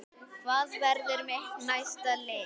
Hvað verður mitt næsta lið?